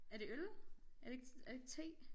Er det øl? Er det ikke er det ikke te?